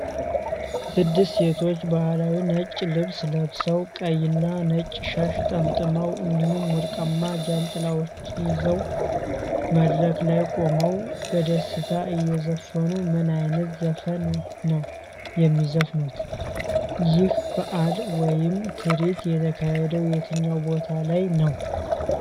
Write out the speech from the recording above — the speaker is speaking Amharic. ስድስት ሴቶች ባህላዊ ነጭ ልብስ ለብሰው፣ ቀይና ነጭ ሻሽ ጠምጥመው እንዲሁም ወርቃማ ጃንጥላዎች ይዘው፣ መድረክ ላይ ቆመው በደስታ እየዘፈኑ ምን ዓይነት ዘፈን ነው የሚዘፍኑት? ይህ በዓል ወይም ትርኢት የተካሄደው የትኛው ቦታ ላይ ነው?